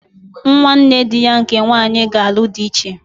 Nwanne dị ya nke nwanyị ga-alụ dị echi.